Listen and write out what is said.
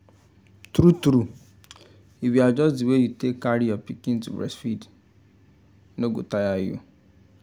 true true if you adjust the way you take carry your pikin to breastfeed no go tire you